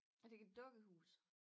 Er det ikke et dukkehus?